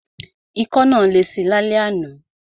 Ikọ́ náà lesi lálẹ́ àná.